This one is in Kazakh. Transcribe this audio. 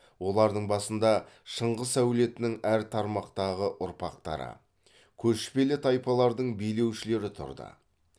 олардың басында шыңғыс әулетінің әр тармақтағы ұрпақтары көшпелі тайпалардың билеушілері тұрды